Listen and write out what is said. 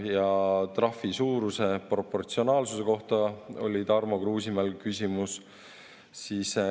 Ka trahvi suuruse proportsionaalsuse kohta oli Tarmo Kruusimäel küsimus.